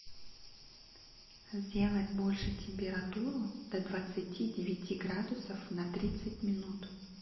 сделать больше температуру до двадцати девяти градусов на тридцать минут